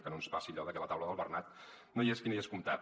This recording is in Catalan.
que no ens passi allò de que a la taula del bernat no hi és qui no hi és comptat